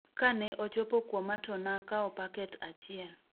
Ka ne ochopo kuoma to nakao paket achiel